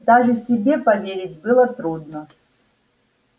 даже себе поверить было трудно